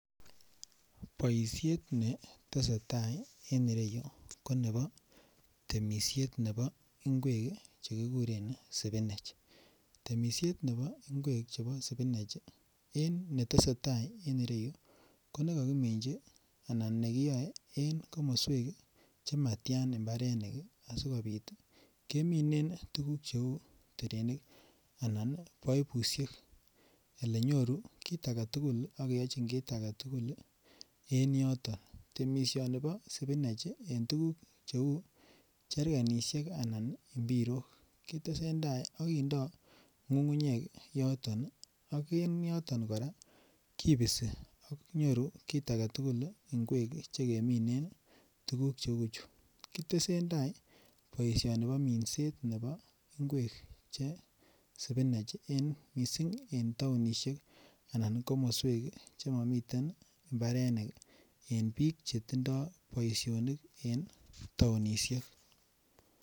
Boisiet ne tesetai en ireyu ko nebo temisiet nebo ingwek ii che kikuren ii spinach, temisiet nebo ingwek chebo spinach en netesetai en ireyu ko nekakiminji anan ne kiyoe en komoswek che matian imbarenik ii, asikobit ii keminen tukuk cheu terenik anan paipusiek, elenyoru kiit ake tugul ak keyochjin kiit ake tugul en yoton, temisioni bo spinach en tukuk cheu cherkanisiek anan mpirok, kitesentai akindoi ngungunyek en yoton ak en yoton kora kipisi ak nyoru kiit ake tugul ingwek che keminen tukuk cheu chu, kitesentai boisioni bo minset nebo ingwek che spinach ii, en mising en taonisiek anan komoswek che mamiten mbarenik en piik che tindoi boisionik en taonisiek.